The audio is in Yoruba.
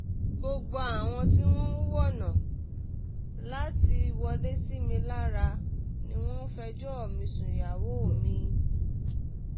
gbogbo àwọn tí wọ́n ń wọ́nà láti wọlé sí mi lára ni wọ́n ń fẹjọ́ mi sún ìyàwó mi